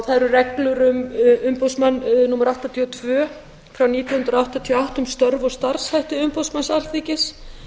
það eru reglur um umboðsmann númer áttatíu og tvö nítján hundruð áttatíu og átta um störf og starfshætti umboðsmanns alþingis